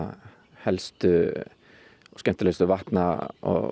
helstu og skemmtilegustu vatna og